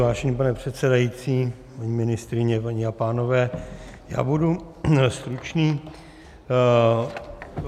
Vážený pane předsedající, paní ministryně, paní a pánové, já budu stručný.